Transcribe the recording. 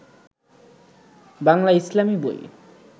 বাংলা ইসলামী বই